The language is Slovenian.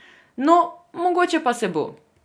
No, mogoče pa se bo.